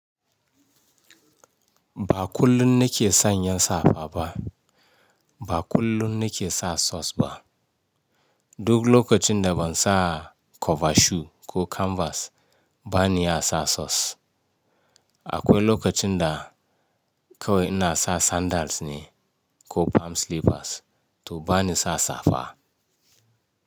Ba kullum nake sanya safa ba. Ba kullum nake sa socks ba. Duk lokacin da ban sa cover shoe ko canvas, ban iya sa socks. Akwai lokacin da kawai ina sa sandals ne, ko palm slippers, to bani sa safa.